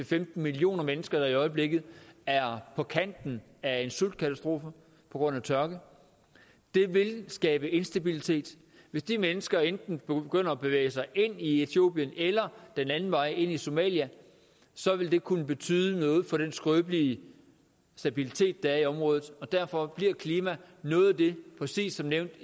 femten million mennesker der i øjeblikket er på kanten af en sultkatastrofe på grund af tørke det vil skabe instabilitet hvis de mennesker enten begynder at bevæge sig ind i etiopien eller den anden vej ind i somalia så vil det kunne betyde noget for den skrøbelige stabilitet der er i området og derfor bliver klima noget af det præcis som nævnt